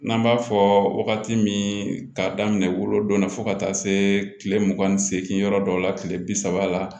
N'an b'a fɔ wagati min k'a daminɛ wolo donna fo ka taa se kile mugan ni seegin yɔrɔ dɔw la tile bi saba la